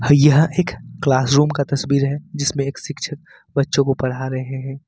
यह एक classroom का तस्वीर है जिसमें एक शिक्षक बच्चों को पढ़ा रहे हैं।